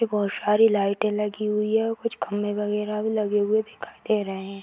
बहोत सारी लाइटे लगी हुवी हैं और कुछ खम्बे वगैरह भी लगे हुए दिखाई दे रहे हैं।